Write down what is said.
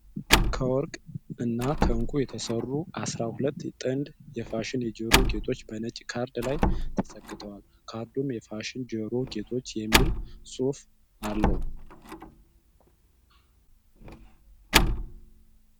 ከወርቅ እና ከዕንቁ የተሰሩ አስራ ሁለት ጥንድ የፋሽን የጆሮ ጌጦች በነጭ ካርድ ላይ ተሰክተዏል። ካርዱም የፋሽን የጆሮ ጌጦች የሚል ጽሑፍ አለው።